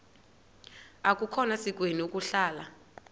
akukhona sikweni ukuhlala